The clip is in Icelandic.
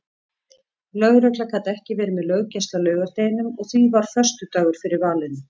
Lögregla gat ekki verið með löggæslu á laugardeginum og því varð föstudagur fyrir valinu.